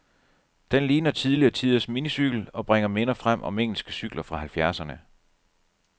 Den ligner tidligere tiders minicykel, og bringer minder frem om engelske cykler fra halvfjerdserne.